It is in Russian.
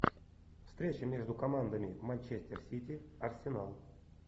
встреча между командами манчестер сити арсенал